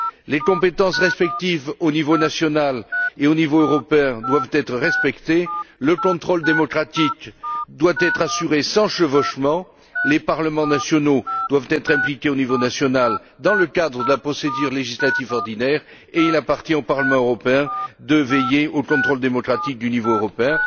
Les compétences propres au niveau national et au niveau européen doivent être respectées, le contrôle démocratique doit être assuré sans chevauchement, les parlements nationaux doivent être impliqués au niveau national dans le cadre de la procédure législative ordinaire, et il appartient au Parlement européen de veiller au contrôle démocratique du niveau européen.